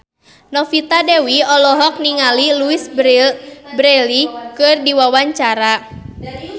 Novita Dewi olohok ningali Louise Brealey keur diwawancara